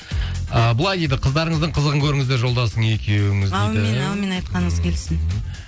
ыыы былай дейді қыздарыңыздың қызығын көріңіздер жолдасың екеуіңіз дейді аумин аумин айтқаныңыз келсін